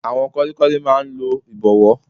Àwọn kọ́lékọ́lé máa n lo ìbọ̀wọ́